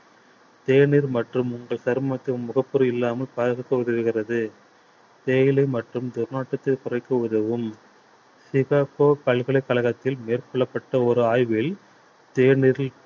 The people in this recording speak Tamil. தேநீர் மற்றும் உங்கள் சருமத்தில் முகப்பரு இல்லாமல் பாதுகாக்க உதவுகிறது தேயிலை மற்றும் துர்நாற்றத்தை குறைக்க உதவும் சிகாக்கோ பல்கலைக்கழகத்தில் மேற்கொள்ளப்பட்ட ஒரு ஆய்வில்